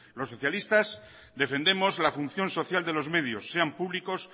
los socialistas defendamos la función social de los medios sean públicos